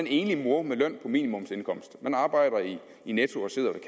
enlig mor med minimumsindkomst man arbejder i netto og sidder